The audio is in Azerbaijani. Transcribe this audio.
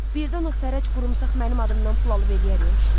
Birdən o Fərəc qurmusaq mənim adımdan pul alıb eləyər axı o kişilərdən.